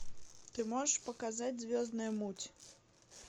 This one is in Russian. ты можешь показать звездная муть